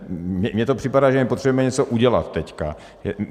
Mně to připadá, že my potřebujeme něco udělat teď.